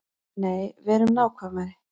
Nei, verum nákvæmari.